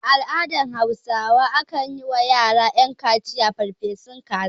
A al'adar hausawa akan yi wa yara ƴan kaciya farfesun kaza